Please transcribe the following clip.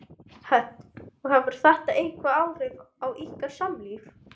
Hvorki má hann bregða sér við píslir né bana.